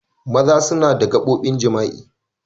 Maza suna da gaɓobin jima'i.